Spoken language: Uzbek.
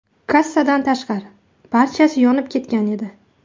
Kassadan tashqari, barchasi yonib ketgan edi.